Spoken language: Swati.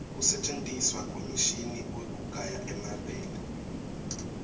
kusentjentiswa kwemishini wekugaya emabele